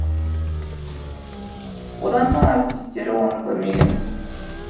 одан соң әріптестері оны көрмеген